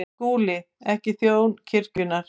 SKÚLI: Ekki þjón kirkjunnar.